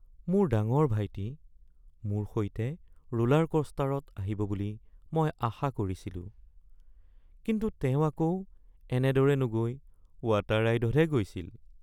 মোৰ ডাঙৰ ভাইটি মোৰ সৈতে ৰোলাৰকোষ্টাৰত আহিব বুলি মই আশা কৰিছিলোঁ। কিন্তু তেওঁ আকৌ এনেদৰে নগৈ ৱাটাৰ ৰাইডতহে গৈছিল।